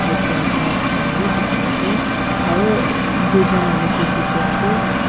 side te rakhina thakia laka bi dikhi ase aru duijen manu ke dikhi ase.